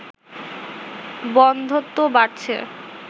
বন্ধ্যত্ব বাড়ছে